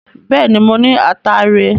Bẹ́ẹ̀ ni, mo ní ataare.